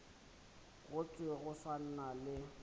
go thwe go na le